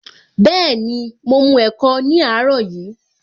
Bẹẹni, mo mu ẹ̀kọ ní àárọ̀ yìí